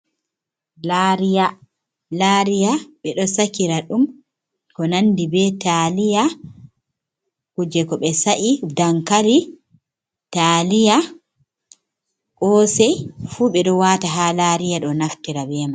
Lariya, lariya ɓe ɗo sakira ɗum ko nandi be taaliya kuje ko be sa’i dankari, taaliya, kosei fu ɓe ɗo wata ha lariya ɗo naftira Be mai.